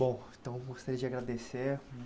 Bom, então eu gostaria de agradecer.